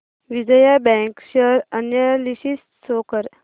Vijaya bank share analysis show कर